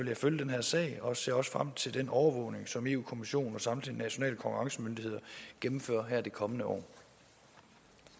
jeg følge den her sag og ser også frem til den overvågning som europa kommissionen og samtlige nationale konkurrencemyndigheder gennemfører det kommende år